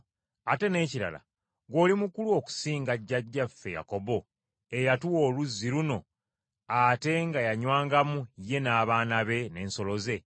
Ate n’ekirala, ggwe oli mukulu okusinga jjajjaffe Yakobo eyatuwa oluzzi luno ate nga yanywangamu ye n’abaana be n’ensolo ze?”